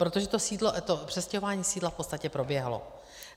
Protože to přestěhování sídla v podstatě proběhlo.